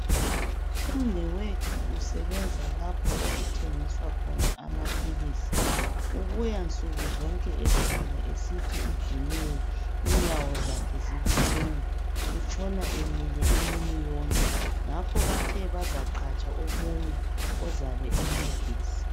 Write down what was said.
Umnewethu usebenza lapho okuthengiswa khona amaphilisi. ubuya nsukuzonke ekhala esithi udiniwe inyawo zakhe zibuhlungu utshona emile imini yonke ngakho bathe bazaqhatsha omunye ozabe emcedisa.